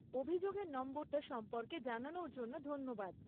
অভিযোগের নম্বরটা সম্পর্কে জানানোর জন্য ধন্যবাদ।